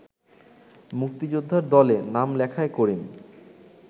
মুক্তিযোদ্ধার দলে নাম লেখায় করিম